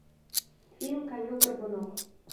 фильм конек горбунок